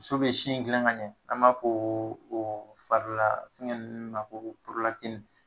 So be sin dilan ka ɲɛ, an b'a foo o farilaa fɛŋɛ nn ma koo